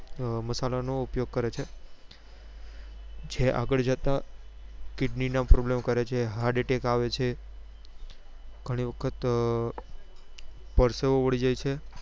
મસાલા નો ઉપયોગ કરે છે જે આગળ જતા kidney ના problem કરે છે heart attack આવે છે ગણી વખત પરસેવો વળી જાય છે